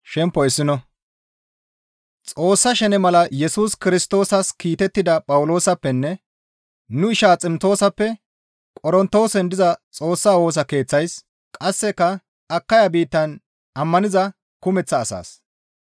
Xoossa shene mala Yesus Kirstoosas kiitettida Phawuloosappenne nu isha Ximtoosappe Qorontoosen diza Xoossa Woosa Keeththeys qasseka Akaya biittan ammaniza kumeththa asaas,